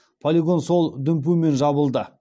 полигон сол дүмпумен жабылды